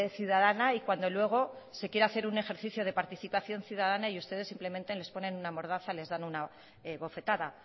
ciudadana y cuando luego se quiere hacer un ejercicio de participación ciudadana ustedes simplemente les ponen una mordaza y les dan una bofetada